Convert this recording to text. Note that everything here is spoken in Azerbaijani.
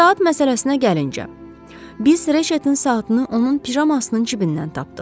Saat məsələsinə gəlincə, biz reşetin saatını onun pijamasının cibindən tapdıq.